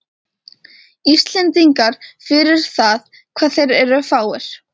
Íslendingum fyrir það hvað þeir eru fáir.